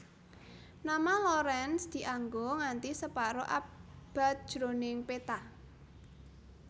Nama Lorentz dianggo nganthi separo abad jroning peta